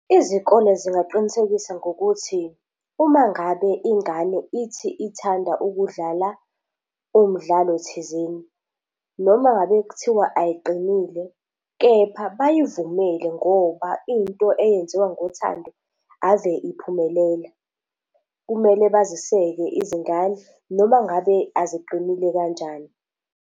Izikole zingaqinisekisa ngokuthi uma ngabe ingane ithi ithanda ukudlala umdlalo thizeni noma ngabe kuthiwa ayiqinile, kepha bayivumele ngoba into eyenziwa ngothando ave iphumelela. Kumele baziseke izingane noma ngabe aziqinile kanjani.